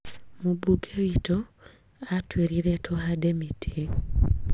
Mũmbunge witũ atũirire tũhande mĩtĩ